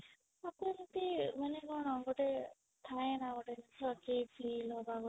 ତାକୁ ଏମିତି ମାନେ କଣ ଗୋଟେ ଥାଏ ନା ଗୋଟେ କିଛି ଅଜୀବ feel ହବା ଗୋଟେ